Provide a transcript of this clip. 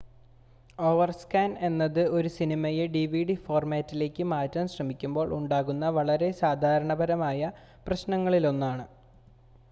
overscan എന്നത് ഒരു സിനിമയെ ഡിവിഡി ഫോർമാറ്റിലേക്ക് മാറ്റാൻ ശ്രമിക്കുമ്പോൾ ഉണ്ടാകുന്ന വളരെ സാധാരണമായ പ്രശ്നങ്ങളിലൊന്നാണ്